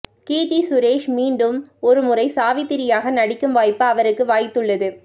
கீர்த்தி சுரேஷ் மீண்டும் ஒரு முறை சாவித்திரியாக நடிக்கும் வாய்ப்பு அவருக்கு வாய்த்துள்ளது